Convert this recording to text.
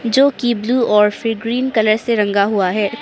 जोकि ब्लू और फिर ग्रीन कलर से रंगा हुआ है।